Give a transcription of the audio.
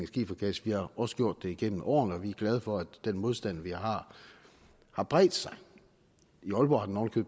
skifergas vi har også gjort det igennem årene og vi er glade for at den modstand vi har har bredt sig i aalborg har den oven i